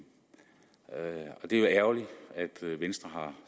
og det er jo ærgerligt at venstre har